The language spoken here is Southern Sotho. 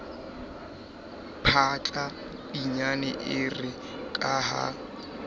phahla pinyane ere ka ha